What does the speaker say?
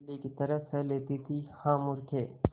बिल्ली की तरह सह लेती थीहा मूर्खे